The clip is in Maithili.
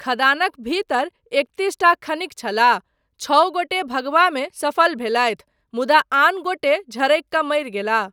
खदानक भीतर एकतीसटा खनिक छलाह, छओ गोटे भगबामे सफल भेलथि मुदा आन गोटे झरकि कऽ मरि गेलाह।